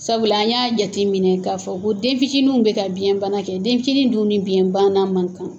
Sabula an y'a jateminɛ k'a fɔ ko den fitinin bɛ ka biyɛnbana kɛ, den fitini dun ni biyɛnbana man kan,